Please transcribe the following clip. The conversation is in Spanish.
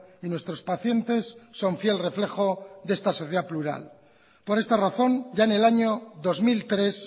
y nuestros pacientes son fiel reflejo de esta sociedad plural por esta razón ya en el año dos mil tres